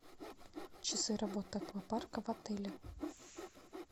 часы работы аквапарка в отеле